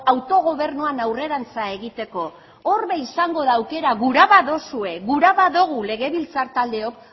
autogobernuan aurrerantz egiteko hor be izango da aukera gura baduzue gura badugu legebiltzar taldeok